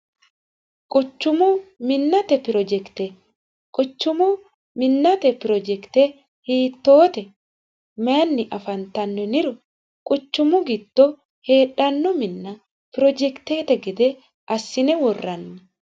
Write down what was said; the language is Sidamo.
quchumu minnate pirojekite quchumu minnate pirojekite hiittoote maanni afantanno yiniro quchumu giddo heedhanno minna pirojekiteete gede assine worranni